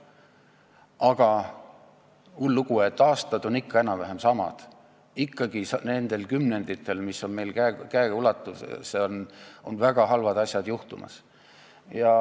Aga hull lugu, et aastad on ikka enam-vähem samasugused, nendel kümnenditel, mis on meil käeulatuses, on väga halvad asjad juhtumas.